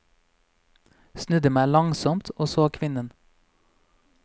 Snudde meg langsomt og så kvinnen.